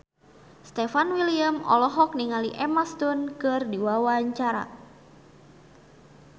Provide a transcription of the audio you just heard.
Stefan William olohok ningali Emma Stone keur diwawancara